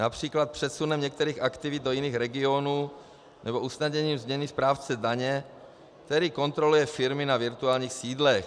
Například přesunem některých aktivit do jiných regionů nebo usnadnění změny správce daně, který kontroluje firmy na virtuálních sídlech.